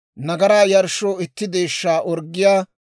nagaraa yarshshoo itti deeshshaa orggiyaa;